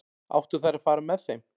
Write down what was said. Áttu þær að fara með þeim?